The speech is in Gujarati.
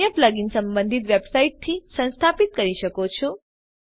અન્ય પ્લગઈન સંબંધિત વેબસાઇટથી સંસ્થાપિત કરી શકો છો